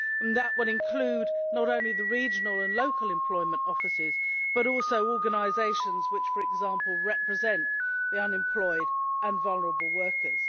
That will include not only the regional and local employment offices but also organisations which, for example, represent the unemployed and vulnerable workers.